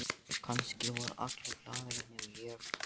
Já, kannski voru allir glaðir nema ég.